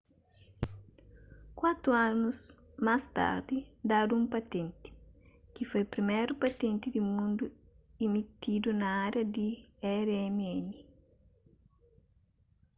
kuatu anus más tardi dadu un patenti ki foi priméru patenti di mundu imitidu na ária di rmn